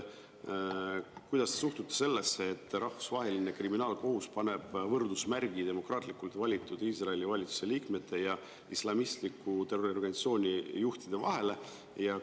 Kuidas te suhtute sellesse, et Rahvusvaheline Kriminaalkohus paneb võrdusmärgi demokraatlikult valitud Iisraeli valitsuse liikmete ja islamistliku terroriorganisatsiooni juhtide vahele?